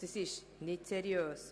Dies ist nicht seriös.